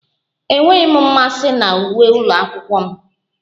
Enweghị m mmasị na uwe ụlọ akwụkwọ m